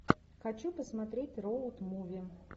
хочу посмотреть роуд муви